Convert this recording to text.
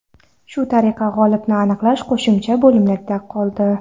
Shu tariqa g‘olibni aniqlash qo‘shimcha bo‘limlarga qoldi.